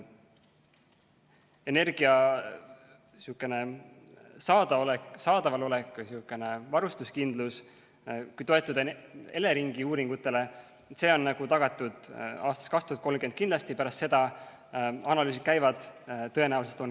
Energia saadaval olek või varustuskindlus, kui toetuda Eleringi uuringutele, on tagatud aastaks 2030 kindlasti, pärast seda – analüüsid käivad – tõenäoliselt ka.